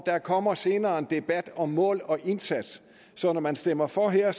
der kommer senere en debat om mål og indsats så når man stemmer for her